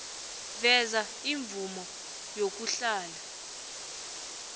veza imvumo yokuhlala